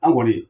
An kɔni